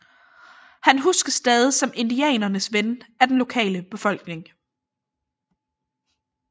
Han huskes stadig som indianernes ven af den lokale befolkning